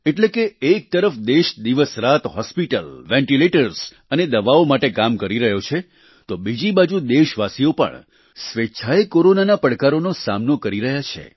એટલે કે એક તરફ દેશ દિવસરાત હોસ્પિટલ વેન્ટિલેટર્સ અને દવાઓ માટે કામ કરી રહ્યો છે તો બીજી બાજુ દેશવાસીઓ પણ સ્વેચ્છાએ કોરોનાના પડકારનો સામનો કરી રહ્યા છે